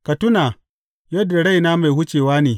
Ka tuna yadda raina mai wucewa ne.